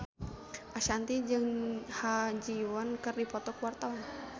Ashanti jeung Ha Ji Won keur dipoto ku wartawan